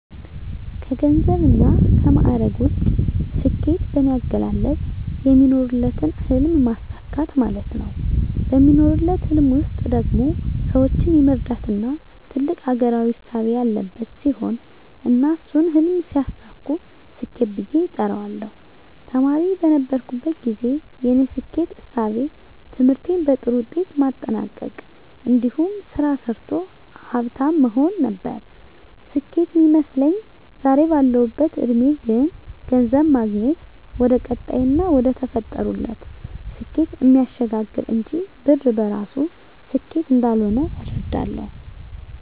ከገንዘብና ከማዕረግ ውጭ፣ ስኬት በኔ አገላለጽ የሚኖሩለትን ህልም ማሳካት ማለት ነው። በሚኖሩለት ህልም ውስጥ ደግሞ ሰወችን የመርዳትና ትልቅ አገራዊ እሳቤ ያለበት ሲሆን እና እሱን ህልም ሲያሳኩ ስኬት ብየ እጠራዋለሁ። ተማሪ በነበርኩበት ግዜ የኔ ስኬት እሳቤ ትምህርቴን በጥሩ ውጤት ማጠናቅ እንዲሁም ስራ ሰርቶ ሀፍታም መሆን ነበር ስኬት ሚመስለኝ። ዛሬ ባለሁበት እድሜ ግን ገንዘብ ማግኘት ወደቀጣይና ወደተፈጠሩለት ስኬት እሚያሸጋግር እንጅ ብር በራሱ ስኬት እንዳልሆነ እረዳለሁ።